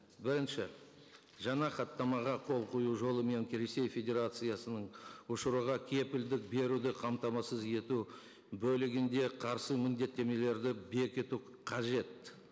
бірінші жаңа хаттамаға қол қою жолымен келісе федерациясының ұшыруға кепілдік беруді қамтамасыз ету бөлігінде қарсы міндеттемелерді бекіту қажет